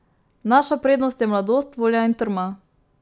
Naša prednost je mladost, volja in trma.